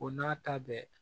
O n'a ta bɛɛ